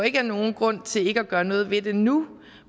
ikke er nogen grund til ikke at gøre noget ved det nu